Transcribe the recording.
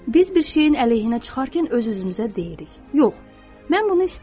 Biz bir şeyin əleyhinə çıxarkən öz-özümüzə deyirik: Yox, mən bunu istəmirəm.